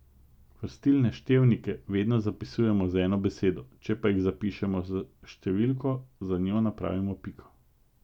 Vrstilne števnike vedno zapisujemo z eno besedo, če pa jih zapišemo s številko, za njo napravimo piko.